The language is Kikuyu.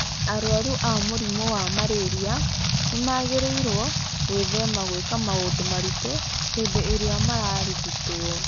Arwaru a mũrimũ wa malaria nĩ magĩrĩirũo gwĩthema gwĩka maũndũ maritũ hĩndĩ ĩrĩa mararigitwo.